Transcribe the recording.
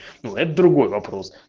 вот другой вопрос